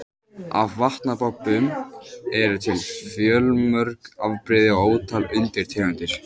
Af vatnabobbum eru til fjölmörg afbrigði og ótal undirtegundir.